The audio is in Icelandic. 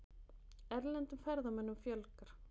Erlendum ferðamönnum fjölgar